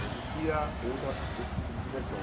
Não existia outra outro tipo de diversão.